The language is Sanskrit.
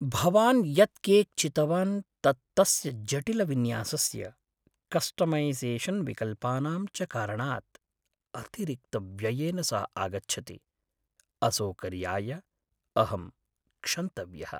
भवान् यत् केक् चितवान् तत् तस्य जटिलविन्यासस्य, कस्टमैसेशन्विकल्पानां च कारणात् अतिरिक्तव्ययेन सह आगच्छति, असौकर्याय अहं क्षन्तव्यः।